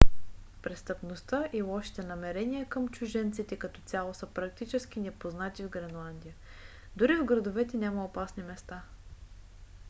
престъпността и лошите намерения към чужденците като цяло са практически непознати в гренландия. дори в градовете няма опасни места